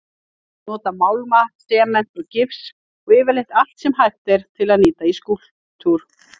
Nota málma, sement og gifs og yfirleitt allt sem hægt er að nýta í skúlptúr.